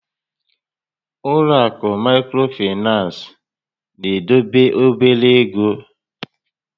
Ụlọ àkụ̀ Maịkrofinans na-edobe obere égo